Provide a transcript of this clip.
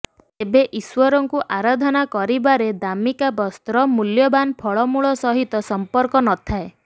ତେବେ ଈଶ୍ବରଙ୍କୁ ଆରାଧନା କରିବାରେ ଦାମିକା ବସ୍ତ୍ର ମୂଲ୍ୟବାନ୍ ଫଳମୂଳ ସହିତ ସମ୍ପର୍କ ନଥାଏ